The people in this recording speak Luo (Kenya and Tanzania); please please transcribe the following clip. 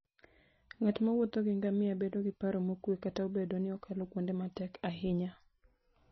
Ng'at mowuotho gi ngamia bedo gi paro mokuwe kata obedo ni okalo kuonde matek ahinya.